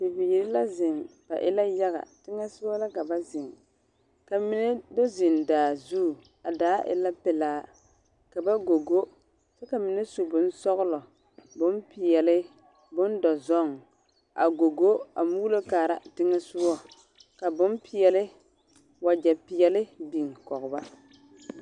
Bibiiri la zeŋ. Ba e la yaga. Teŋɛ soga la ka ba zeŋ ka mine do zeŋ daa zu. A daa e la pelaa, ka ba gogo. Ka mine su bonsɔgelɔ, bompeɛle, bondɔzɔŋ a gogo a muulo kaara teŋɛ soga. Ka bompeɛle, wage peɛle biŋ kɔge ba.